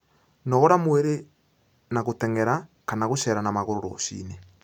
Nogora mwĩrĩ na guteng'era kana gucera na maguru rucii-ini